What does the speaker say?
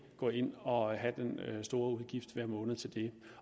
gå ind og have den store udgift hver måned til det